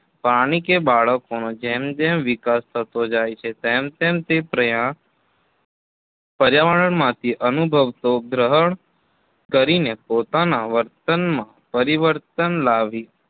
પ્રાણી કે બાળકનો જેમ જેમ વિકાસ થતો જાય તેમ તેમ તે પર્યા પર્યાવરણમાંથી અનુભતો ગ્રહણ કરીને પોતાના વર્તનમાં પરિવર્તન લાવી